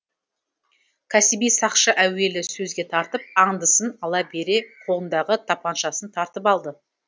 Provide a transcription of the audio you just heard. кәсіби сақшы әуелі сөзге тартып аңдысын ала бере қолындағы тапаншасын тартып алды